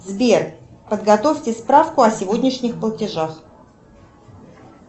сбер подготовьте справку о сегодняшних платежах